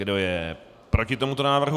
Kdo je proti tomuto návrhu?